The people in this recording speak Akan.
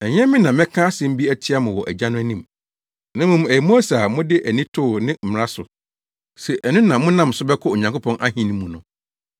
“Ɛnyɛ me na mɛka asɛm bi atia mo wɔ Agya no anim, na mmom ɛyɛ Mose a mode mo ani too ne mmara so se ɛno na monam so bɛkɔ Onyankopɔn ahenni mu no.